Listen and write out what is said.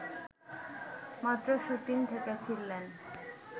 মাত্র শুটিং থেকে ফিরলেন